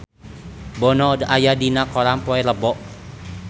Bono aya dina koran poe Rebo